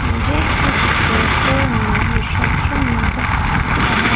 मुझे इस फोटो में रिसेप्शन नजर आ--